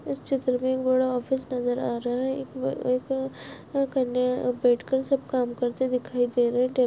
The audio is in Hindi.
इस चित्र मे एक बड़ा ऑफिस नजर आ रहा है एक में वह एक कन्या बैठ कर सब काम करते दिखाई दे रहे है टेब --